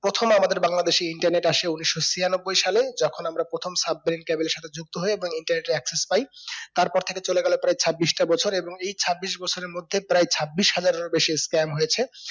প্রথমে আমাদের বাংলাদেশি internet আসে উন্নিশো ছিয়ানব্বই সালে যেকোন আমরা প্রথম submarine cable এর সাথে যুক্ত হয়ে এবং internet এর axis পাই তারপর থেকে চলে গেলো প্রায় ছাব্বিশটা বছর এবং এই ছাব্বিশ বছরের মধ্যে প্রায় ছাব্বিশ হাজারেরও বেশি scam হয়েছে